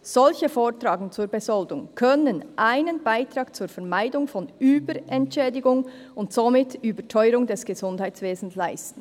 , «Solche Vorgaben zur Besoldung können einen Beitrag zur Vermeidung von Überentschädigung und somit über Teuerung des Gesundheitswesens leisten.